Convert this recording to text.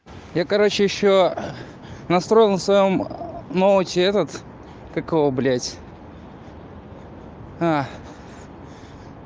я короче ещё настроил на своём ноуте этот как его блядь